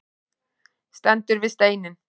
Stendur við steininn.